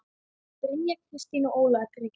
Brynja Kristín og Ólafur Breki.